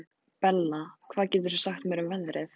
Bella, hvað geturðu sagt mér um veðrið?